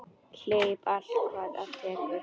Hleyp allt hvað af tekur.